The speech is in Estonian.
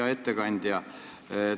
Hea ettekandja!